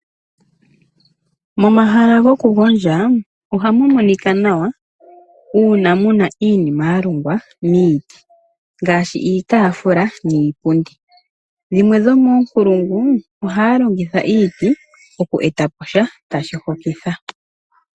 Momahala goku gondja ohamu monika nawa uuna muna iinima ya longwa miiti ngaashi iitafula niipundi dhimwe dhomonkulungu ohaya longo iiti oku etapo sha tashi hokitha.